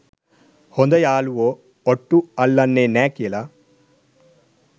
හොද යාලුවො ඔට්ටු අල්ලන්නෙ නෑ කියල.